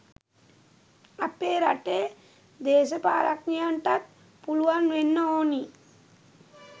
අපේ රටේ දේශපාලඥයන්ටත් පුළුවන් වෙන්න ඕනි.